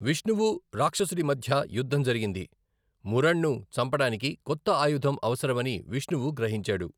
విష్ణువు, రాక్షసుడి మధ్య యుద్ధం జరిగింది, మురణ్ను చంపడానికి కొత్త ఆయుధం అవసరమని విష్ణువు గ్రహించాడు.